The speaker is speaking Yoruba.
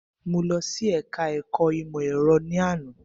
Mo lọ sí ẹka ẹ̀kọ́ ìmọ̀ ẹ̀rọ ní àná.